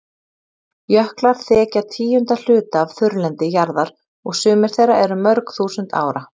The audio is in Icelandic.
Jöklar þekja tíunda hluta af þurrlendi jarðar og sumir þeirra eru mörg þúsund ára.